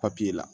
Papiye la